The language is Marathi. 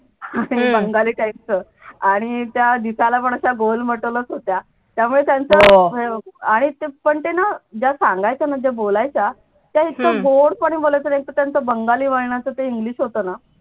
बंगाली type च आणि त्या दिसायला पण गोल मटोलचं होत्या त्यामुळे त्यांचं आणि पण ते ना ज्या सांगायच्या ना ज्या बोलायच्या त्या इतकं गोडपणे बोलायच्या आणि एकतर त्यांचं बंगाली वळणाचं ते इंग्लिश होत ना